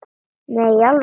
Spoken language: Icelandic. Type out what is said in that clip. Nei, í alvöru